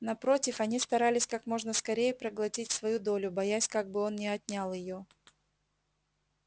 напротив они старались как можно скорее проглотить свою долю боясь как бы он не отнял её